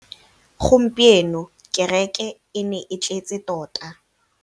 Gompieno kêrêkê e ne e tletse tota.